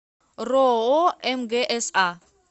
роо мгса